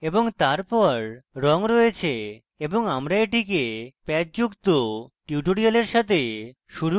এবং তারপর রঙ রয়েছে এবং আমরা এটিকে প্যাচ যুক্ত tutorial সাথে শুরু করব